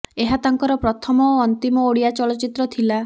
ଏହା ତାଙ୍କର ପ୍ରଥମ ଓ ଅନ୍ତିମ ଓଡ଼ିଆ ଚଳଚ୍ଚିତ୍ର ଥିଲା